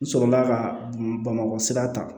N sɔrɔla ka bamakɔ sira ta